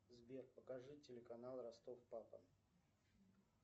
сбер покажи телеканал ростов папа